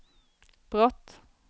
brott